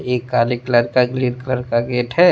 एक काले कलर का ग्रीन कलर का गेट है।